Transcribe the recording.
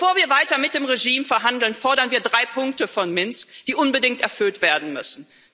Bevor wir weiter mit dem Regime verhandeln, fordern wir drei Punkte von Minsk, die unbedingt erfüllt werden müssen.